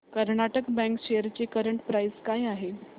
Karnataka bank shares ची current price काय आहे